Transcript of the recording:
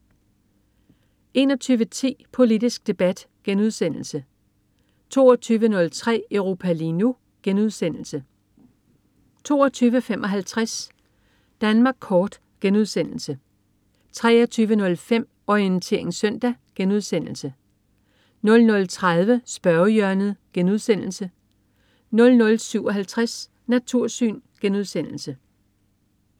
21.10 Politisk Debat* 22.03 Europa lige nu* 22.55 Danmark Kort* 23.05 Orientering Søndag* 00.30 Spørgehjørnet* 00.57 Natursyn*